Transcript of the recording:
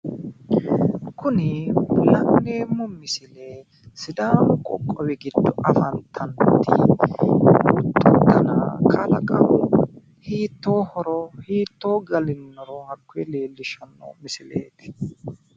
Kuni la'neemmo misile sidaamu qoqqowi giddo afantanno kuni huxxu dana kalaqamu hiittoohoro hiittoo galinnoro hakkoye leellishshanno misileeti.